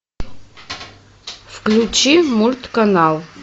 включи мульт канал